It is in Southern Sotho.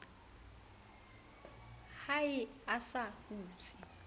ha eo a sa hutse